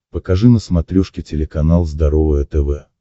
покажи на смотрешке телеканал здоровое тв